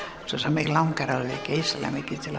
mig langar alveg geysilega mikið til